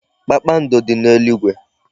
Kpakpando dị n'eluigwe.